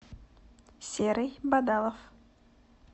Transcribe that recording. серый бадалов